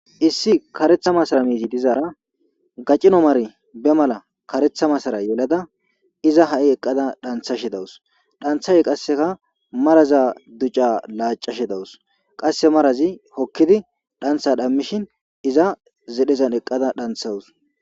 Issi karatha masara mizi dizara gacino mari be mala karetha masara be mala yelada iza ha' eqada dhathashe dawus danthashe qase maraza ducaza lacashe dawus qase marazi hokidi dhantha dhamishen iza zedhezan eqada dhanthaws